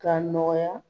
K'a nɔgɔya